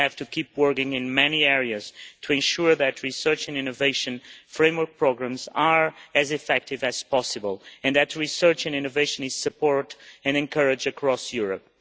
We have to keep working in many areas to ensure that research and innovation framework programmes are as effective as possible, and that research and innovation is supported and encouraged across Europe.